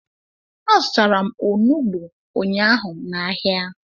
Azụtara m onugbu ụnyaahụ n'ahia